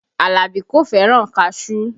Alabi kò fẹ́ràn kaṣuú